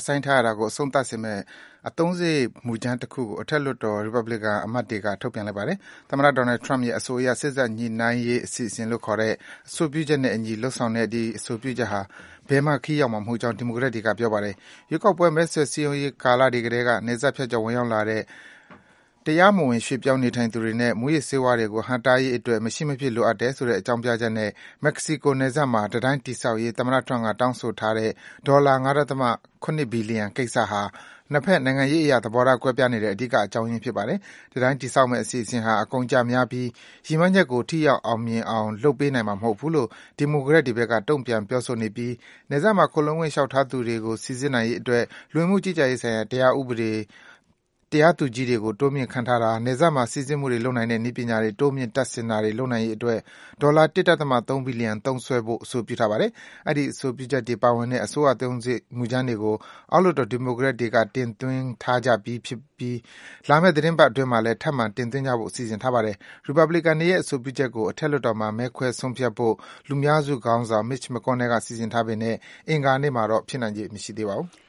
ဆိုင်းထားရတာကို အဆုံးသတ်စေမယ့် အသုံးစားရိတ် မူကြမ်းတခုကို အထက်လွှတ်တော် ရီပတ်ဘလီကန် အမတ်တွေက ထုတ်ပြန်လိုက်ပါတယ်။ သမ္မတ Donald Trump ရဲ့အဆိုအရ စေ့စပ်ညှိနှိုင်းရေး အစီအစဉ်လို့ ခေါ်တဲ့ အဆိုပြုချက်နဲ့အညီ လုပ်ဆောင်တဲ့ ဒီ အဆိုပြုချက်ဟာ ဘယ်မှ ခရီးရောက်မှာ မဟုတ်ကြောင်း ဒီမိုကရက်တွေက ပြောပါတယ်။ ရွေးကောက်ပွဲ မဲဆွယ် စည်းရုံးရေးကာလတွေကတည်းက နယ်စပ်ဖြတ်ကျော် ဝင်ရောက်လာတဲ့ တရားမဝင် ရွေ့ပြောင်း နေထိုင်သူတွေနဲ့ မူးယစ်ဆေးဝါးတွေကို ဟန့်တားရေးအတွက် မရှိမဖြစ် လိုအပ်တယ်ဆိုတဲ့ အကြောင်းပြချက်နဲ့ မက္ကဆီကို နယ်စပ်မှာ တံတိုင်း တည်ဆောက်ရေး သမ္မတ Trump က တောင်းဆိုထားတဲ့ ဒေါ်လာ ၅.၇ ဘီလီယံကိစ္စဟာ နှစ်ဘက် နိုင်ငံရေးအရ သဘောထားကွဲပြားနေတဲ့ အဓိက အကြောင်းရင်း ဖြစ်ပါတယ်။ တံတိုင်းတည်ဆောက်မယ့် အစီအစဉ်ဟာ အကုန်အကျများပြီး ရည်မှန်းချက်ကို ထိရောက် အောင်မြင်အောင် လုပ်ပေးနိုင်မှာ မဟုတ်ဘူးလို့ ဒီမိုကရက်တွေဘက်က တုန့်ပြန် ပြောဆိုနေပြီး နယ်စပ်မှာ ခိုလှုံခွင့် လျှောက်ထားသူတွေ စိစစ်နိုင်ရေးအတွက် လူဝင်မှု ကြီးကြပ်ရေးဆိုင်ရာ တရားသူကြီးတွေ တိုးမြင့် ခန့်ထားတာ၊ နယ်စပ်မှာ စိစစ်မှုတွေ လုပ်နိုင်တဲ့ နည်းပညာတွေ တိုးမြင့် တပ်ဆင်တာတွေ လုပ်နိုင်ရေးအတွက် ဒေါ်လာ ၁.၃ ဘီလီယံ သုံးစွဲဖို့ အဆိုပြုထားပါတယ်။ အဲဒီ အဆိုပြုချက်တွေ ပါဝင်တဲ့ အစိုးရအသုံးစားရိတ် မူကြမ်းတွေကို အောက်လွှတ်တော် ဒီမိုကရက်တွေက အဆိုပြုထားကြပြီး လာမယ့် သီတင်းပတ်အတွင်းမှာလည်း ထပ်မံ အဆိုပြုကြဖို့ စီစဉ်ထားပါတယ်။ ရီပတ်ဘလီကန်တွေရဲ့ အဆိုပြုချက်ကို အထက်လွှတ်တော်မှာ မဲခွဲ ဆုံးဖြတ်ဖို့ လူများစုခေါင်းဆောင် Mitch McConnell က စီစဉ်ထားပေမယ့် အင်္ဂါနေ့မှာတော့ ဖြစ်နိုင်ချေ မရှိပါဘူး။